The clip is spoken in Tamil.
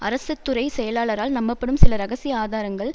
அரசுதுறை செயலாளரால் நம்பப்படும் சில இரகசிய ஆதாரங்கள்